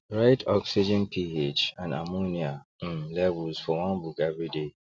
write oxygenph and ammonia um levels for one book everyday